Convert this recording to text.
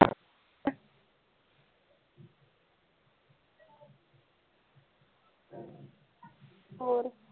ਹੋਰ